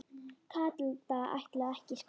Kata ætlaði ekki í skóla.